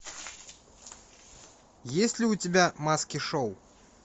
есть ли у тебя маски шоу